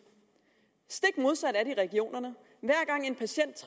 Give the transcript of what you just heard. stik modsat er det i regionerne hver gang en patient